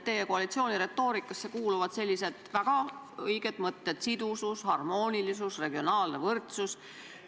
Teie koalitsiooni retoorikasse kuuluvad väga õiged mõtted: sidusus, harmoonilisus, regionaalne võrdsus.